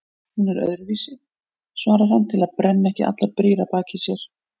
Hún er öðruvísi, svarar hann til að brenna ekki allar brýr að baki sér.